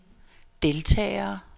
deltagere